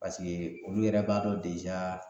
Paseke olu yɛrɛ b'a dɔn